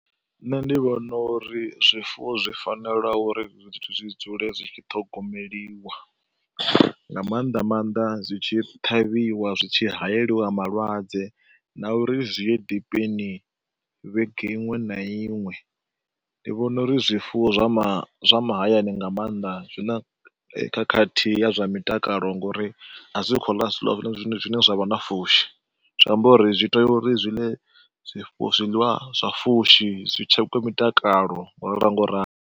Nṋe ndi vhona uri zwifuwo zwi fanela uri zwithu zwi dzule zwi tshi ṱhogomeliwa, nga maanḓa maanḓa zwi tshi ṱhavhiwa, zwi tshi hayeliwa malwadze na uri zwi ye dipeni vhege iṅwe na iṅwe. Ndi vhona uri zwifuwo zwa ma zwa mahayani nga maanḓa zwi na khakhathi ya zwa mitakalo ngauri a zwi khou ḽa zwiḽiwa zwine zwa vha na pfushi. Zwi amba uri zwi tea uri zwi ḽe zwiḽiwa zwa pfushi, zwi tshekhiwe mitakalo ngauralo ngauralo.